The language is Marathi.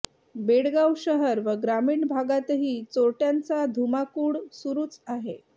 बेळगाव शहर व ग्रामीण भागातही चोरटय़ांचा धुमाकूळ सुरूच आहे